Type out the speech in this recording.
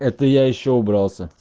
это я ещё убрался